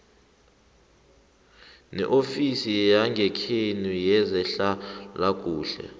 neofisi yangekhenu yezehlalakuhle